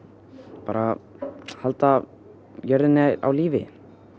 bara halda jörðinni á lífi